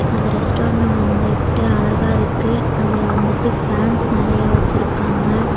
அந்த ரெஸ்டாரண்ணு வந்துட்டு அழகா இருக்கு அதுல வந்துட்டு ஃபேன்ஸ் நெறைய வச்சிருக்காங்க.